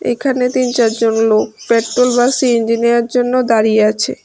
এখানে তিন চারজন লোক পেট্রোল বা সি_এন_জি নেওয়ার জন্য দাঁড়িয়ে আছে।